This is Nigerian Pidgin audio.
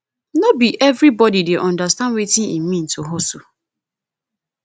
no be everybodi dey understand wetin e mean to hustle